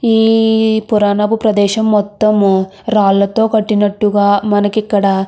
ఈ పురాణపు ప్రదేశం మొత్తం రాళ్లతో కొట్టినట్టుగా మనకి ఇక్కడ --